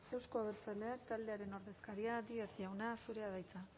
euzko abertzaleak taldearen ordezkaria díez jauna zurea da hitza